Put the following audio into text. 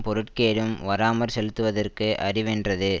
பொருட்கேடும் வாராமற் செலுத்துவது அறிவென்றது